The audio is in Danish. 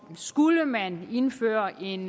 skulle man indføre en